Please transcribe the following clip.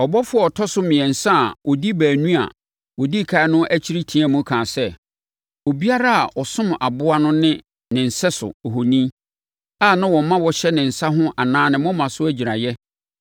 Ɔbɔfoɔ a ɔtɔ so mmiɛnsa a ɔdi baanu a wɔdi ɛkan no akyi teaam kaa sɛ, “Obiara a ɔsom aboa no ne ne sɛso ohoni a na ɔma wɔhyɛ ne nsa ho anaa ne moma so agyiraeɛ